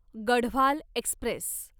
Garhwal Express